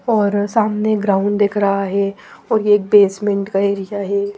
और सामने ग्राउंड दिख रहा है और ये एक बेसमेंट का एरिया है।